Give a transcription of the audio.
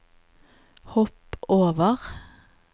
hopp over